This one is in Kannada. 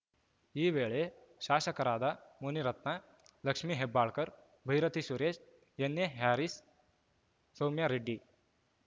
ಈ ವೇಳೆ ಶಾಸಕರಾದ ಮುನಿರತ್ನ ಲಕ್ಷ್ಮೇ ಹೆಬ್ಬಾಳ್ಕರ್‌ ಬೈರತಿ ಸುರೇಶ್‌ ಎನ್‌ಎ ಹ್ಯಾರಿಸ್‌ ಸೌಮ್ಯರೆಡ್ಡಿ